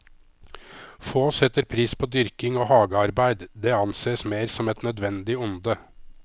Få setter pris på dyrking og hagearbeid, det anses mer som et nødvendig onde.